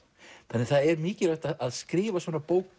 þannig að það er mikilvægt að skrifa svona bók